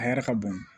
A yɛrɛ ka bon